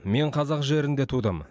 мен қазақ жерінде тудым